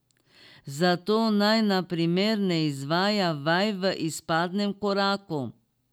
Zato naj na primer ne izvaja vaj v izpadnem koraku.